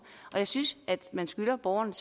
og jeg synes at man skylder borgerne